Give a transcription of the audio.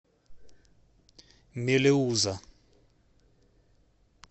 мелеуза